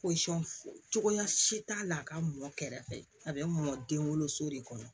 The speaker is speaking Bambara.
cogoya si t'a la a ka mɔ kɛrɛfɛ a bɛ mɔn den woloso de kɔnɔ